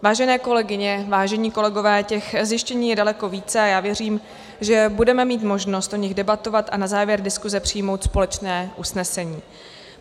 Vážené kolegyně, vážení kolegové, těch zjištění je daleko více a já věřím, že budeme mít možnost o nich debatovat a na závěr diskuze přijmout společné usnesení.